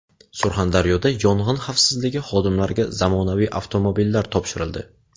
Surxondaryoda Yong‘in xavfsizligi xodimlariga zamonaviy avtomobillar topshirildi.